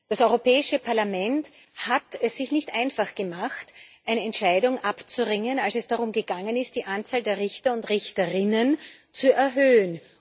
Das Europäische Parlament hat es sich nicht einfach gemacht, sich eine Entscheidung abzuringen, als es darum ging, die Anzahl der Richter und Richterinnen zu erhöhen.